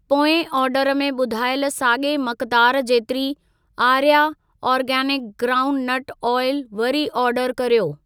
पोएं ऑर्डर में ॿुधायल साॻिए मक़दार जेतिरी आर्या आर्गेनिक ग्राउंडनट ऑइल वरी ऑर्डर कर्यो।